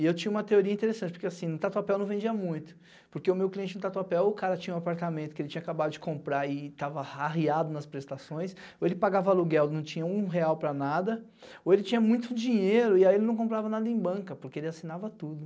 E eu tinha uma teoria interessante, porque assim, no Tatuapéu não vendia muito, porque o meu cliente no Tatuapéu, ou o cara tinha um apartamento que ele tinha acabado de comprar e tava arreado nas prestações, ou ele pagava aluguel, não tinha um real para nada, ou ele tinha muito dinheiro e aí ele não comprava nada em banca, porque ele assinava tudo.